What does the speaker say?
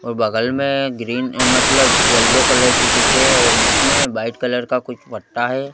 और बगल में ग्रीन मतलब येलो कलर की कुछ है और बीच में वाइट कलर का कुछ पट्टा है।